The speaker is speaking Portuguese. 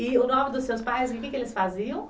E o nome dos seus pais, o que eles faziam?